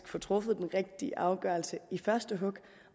få truffet den rigtige afgørelse i første hug